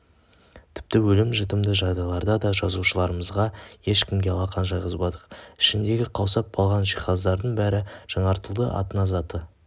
тіпті өлім-жітімді жағдайларда да жазушыларымызды ешкімге алақан жайғызбадық ішіндегі қаусап қалған жиһаздардың бәрі жаңартылды атына заты